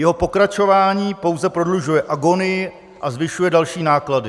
Jeho pokračování pouze prodlužuje agonii a zvyšuje další náklady.